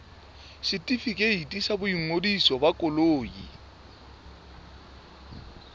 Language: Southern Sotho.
setefikeiti sa boingodiso ba koloi